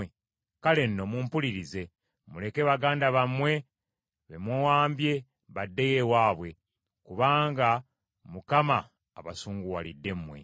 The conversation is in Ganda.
Kale nno, mumpulirize, muleke baganda bammwe be muwambye baddeyo ewaabwe, kubanga Mukama abasunguwalidde mmwe.”